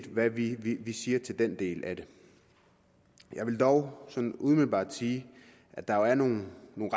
hvad vi siger til den del af det jeg vil dog sådan umiddelbart sige at der jo er nogle